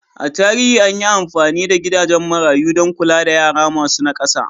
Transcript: A tarihi an yi amfani da gidajen marayu don kula da yara masu nakasa.